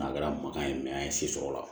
A kɛra makan ye an ye se sɔrɔ o la